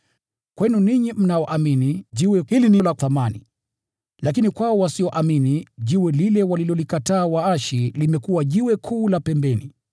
Kwenu ninyi mnaoamini, jiwe hili ni la thamani. Lakini kwao wasioamini, “Jiwe walilolikataa waashi limekuwa jiwe kuu la pembeni,”